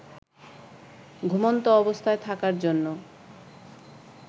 ঘুমন্ত অবস্থায় থাকার জন্য